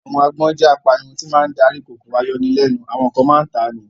Àwọn agbọ́n jẹ́ apanirun tí máa ń darí kòkòrò ayọnilẹ́nu, àwọn kan máa ń ta ni